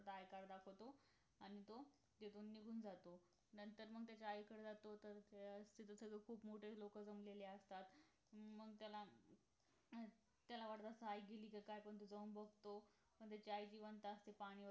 i card दाखवतो आणि तिथून निघून जातो नंतर मग त्याच्या आईकडे जातो तर तिथं सगळे खूप मोठे लोक जमलेले असतात अं मग त्याला त्याला वाटत असत आई गेली कि काय पण तो जाऊन बघतो पण त्याची आई जिवंत असते पाणी